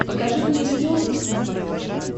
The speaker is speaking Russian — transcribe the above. покажи мне иллюзион плюс на смотрешке